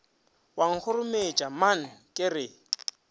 wa nkgorometša man ke re